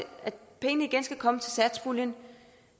pengene igen skal komme fra satspuljen